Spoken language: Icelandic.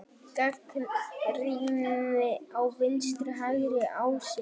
Gagnrýni á vinstri-hægri ásinn